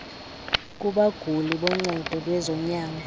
kubaguli boncedo lwezonyango